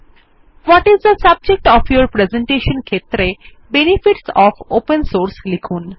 Bhatt is the subject of your presentation ক্ষেত্রে benefits of open source লিখুন